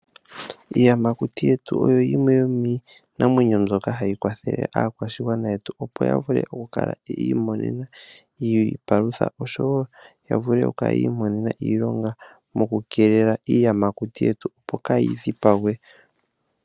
Iiyamakuti yetu oyo yimwe yomiinamwenyo mbyoka hayi kwathele aakwashigwana yetu opo ya vule okukala yiimona iipalutha oshowo oku imonena iilonga moku keelela iiyamakuti yetu opo kayi dhipagwe.